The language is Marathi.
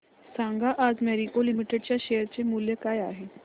सांगा आज मॅरिको लिमिटेड च्या शेअर चे मूल्य काय आहे